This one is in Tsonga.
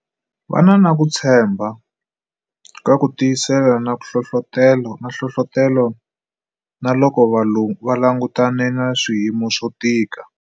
Va na ku tshembha, ku tiyisela na nhlohlotelo, na loko va langutane na swiyimo swo tika.